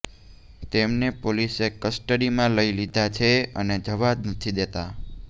તેમને પોલિસે કસ્ટડીમાં લઈ લીધા છે અને જવા નથી દેતા